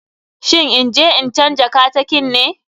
Shin inje in canja katakin ne?